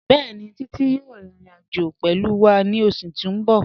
Bẹẹ̀ni, Títí yòò rín ìrìn-àjọ̀ pẹ̀lú wà ní ọṣù tí n bọ̀.